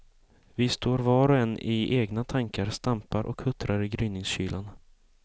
Vi står var och en i egna tankar, stampar och huttrar i gryningskylan.